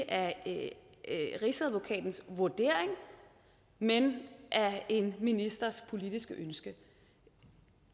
af ikke rigsadvokatens vurdering men af en ministers politiske ønsker